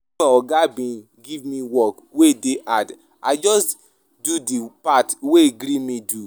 Wen my oga bin give me work wey dey hard, I just do di part wey gree me do.